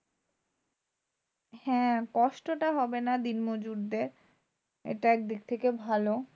হ্যাঁ কষ্টটা হবে না দিনমজুরদের। এটা একদিক থেকে ভালো।